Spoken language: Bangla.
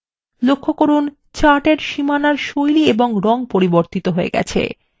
লক্ষ্য করুন chart এর সীমানার style এবং রং পরিবর্তিত হয়ে গেছে